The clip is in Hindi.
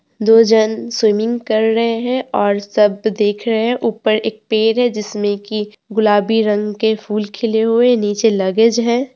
दो जन स्विमिंग कर रहे हैं और सब देख रहे है ऊपर एक पेड़ है जिसमें की गुलाबी रंग के फूल खिले हुए नीचे लगेज है।